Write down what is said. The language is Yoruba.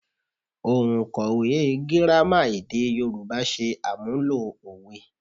Òǹkọ̀wẹ́ Gírámà èdè Yorùbá ṣe àmúlò òwe